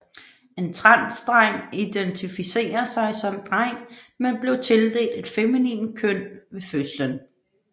En transdreng identificerer sig som dreng men blev tildelt et feminint køn ved fødslen